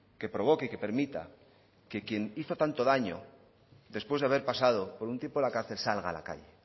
que provoque y que permita que quien hizo tanto daño después de haber pasado un tiempo en la cárcel salga a la calle